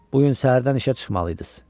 Bu gün səhərdən işə çıxmalıydınız.